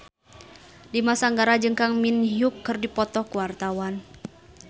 Dimas Anggara jeung Kang Min Hyuk keur dipoto ku wartawan